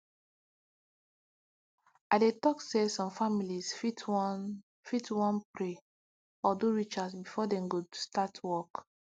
i dey talk say some families fit wan fit wan pray or do rituals before dem go start work